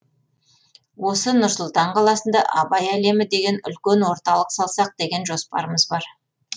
осы нұр сұлтан қаласында абай әлемі деген үлкен орталық салсақ деген жоспарымыз бар